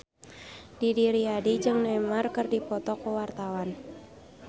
Didi Riyadi jeung Neymar keur dipoto ku wartawan